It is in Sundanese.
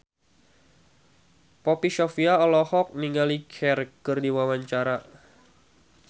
Poppy Sovia olohok ningali Cher keur diwawancara